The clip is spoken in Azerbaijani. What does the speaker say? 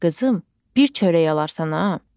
Qızım, bir çörək alarsan ha.